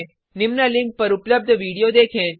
निम्न लिंक पर उपलब्ध वीडियो देखें